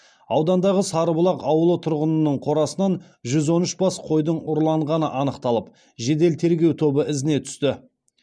аудандағы сарыбұлақ ауылы тұрғынының қорасынан жүз он үш бас қойдың ұрланғаны анықталып жедел тергеу тобы ізіне түсті